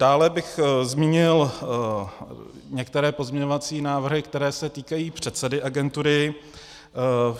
Dále bych zmínil některé pozměňovací návrhy, které se týkají předsedy agentury.